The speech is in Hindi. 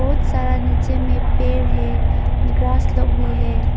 बहुत सारा नीचे में पेड़ है ग्रास लोग भी है।